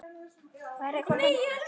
Hvað er ykkur á höndum?